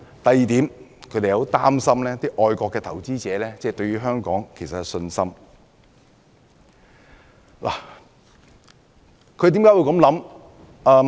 第二，他們擔心會影響外國投資者對香港的信心。